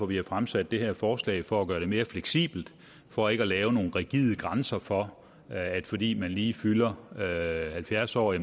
vi har fremsat det her forslag for at gøre det mere fleksibelt for ikke at lave nogle rigide grænser for at fordi man lige fylder halvfjerds år er